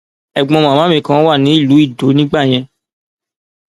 ẹgbọn màmá mi kan wà ní ìlú idow nígbà yẹn